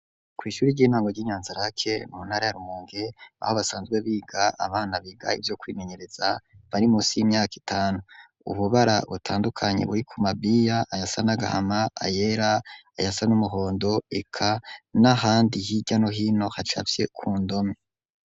Kw'ishuri ry'intango ry'i Nyanzarake mu ntara ya Rumonge, aho basanzwe biga abana biga ivyo kwimenyereza, bari munsi y'imyaka itanu, ububara butandukanye buri ku mabiya ayasa n'agahama, ayera ayasa n'umuhondo, eka n'ahandi hirya no hino hacafye ku ndome.